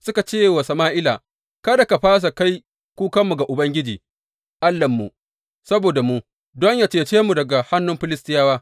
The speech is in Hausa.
Suka ce wa Sama’ila, Kada ka fasa kai kukanmu ga Ubangiji Allahnmu saboda mu, don yă cece mu daga hannun Filistiyawa.